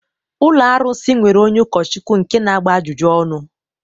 Ụlọ arụsị nwere onye ụkọchukwu nke na-agba ajụjụ ọnụ